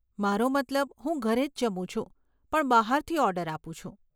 મારો મતલબ, હું ઘરે જ જમું છું પણ બહારથી ઓર્ડર આપું છું.